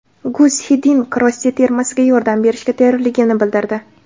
Gus Xiddink Rossiya termasiga yordam berishga tayyorligini bildirdi.